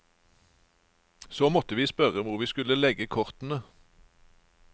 Så måtte vi spørre hvor vi skulle legge kortene.